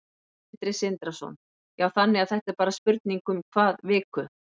Sindri Sindrason: Já, þannig að þetta er bara spurning um hvað viku?